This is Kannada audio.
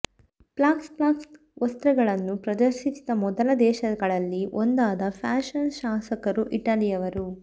ಫ್ಲಾಕ್ಸ್ ಫ್ಲಾಕ್ಸ್ ವಸ್ತ್ರಗಳನ್ನು ಪ್ರದರ್ಶಿಸಿದ ಮೊದಲ ದೇಶಗಳಲ್ಲಿ ಒಂದಾದ ಫ್ಯಾಷನ್ ಶಾಸಕರು ಇಟಲಿಯವರು